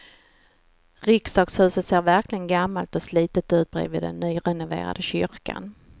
Riksdagshuset ser verkligen gammalt och slitet ut bredvid den nyrenoverade kyrkan.